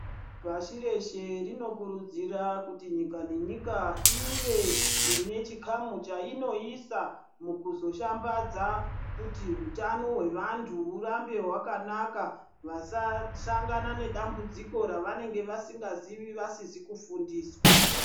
Pashi reshe rinokurudzira kuti nyika nenyika ive ine chikamu chainoisa mukuzoshambadza kuti hutano hweantu hurambe hwakanaka vasasangana nedambudziko ravanenge vasingaziyi vasizi kufundiswa.